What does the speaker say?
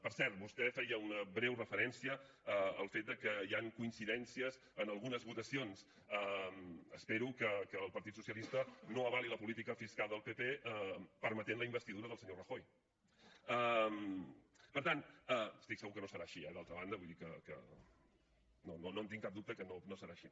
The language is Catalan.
per cert vostè feia una breu referència al fet que hi han coincidències en algunes votacions espero que el partit socialista no avali la política fiscal del pp permetent la investidura del senyor rajoy estic segur que no serà així eh d’altra banda vull dir que no tinc cap dubte que no serà així